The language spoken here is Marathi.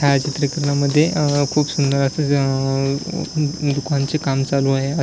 ह्या चित्रकरणामध्ये खूप सुंदर अस अ दुकानचे काम चालू आहे.